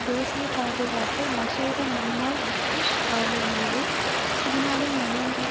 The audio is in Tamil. தேசிய பாதுகாப்பு மசோதா முன்னாள் பிரிட்டிஷ் காலனியிலும் சீனாவில் நடைமுறையில்